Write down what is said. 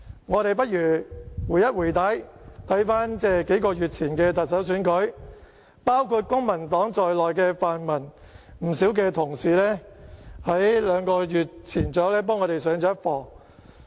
我們看看數個月前的特首選舉，包括公民黨在內的泛民同事，在兩個月前幫我們上了一課。